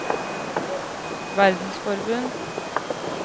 verdensforbund